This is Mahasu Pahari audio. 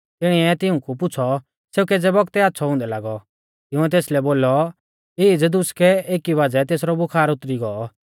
तिणीऐ तिऊंकु पुछ़ौ सेऊ केज़ै बौगतै आच़्छ़ौ हुंदै लागौ तिंउऐ तेसलै बोलौ ईज़ दुसकै एकी बाज़ै तेसरौ बुखार उतरी गौ